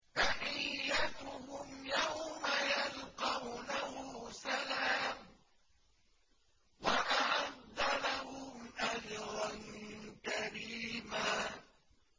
تَحِيَّتُهُمْ يَوْمَ يَلْقَوْنَهُ سَلَامٌ ۚ وَأَعَدَّ لَهُمْ أَجْرًا كَرِيمًا